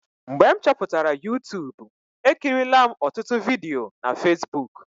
Mgbe m chọpụtara Yutubu, ekirila m ọtụtụ vidiyo na Fesbuk.